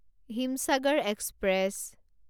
Himsagar express